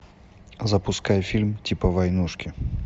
запускай фильм типа войнушки